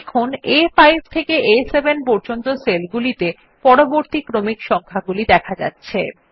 দেখুন আ5 থেকে আ7 পর্যন্ত সেলগুলিতে পরবর্তী ক্রমিক সংখ্যাগুলি দেখা যাচ্ছে